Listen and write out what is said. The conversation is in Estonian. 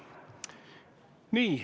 Nii.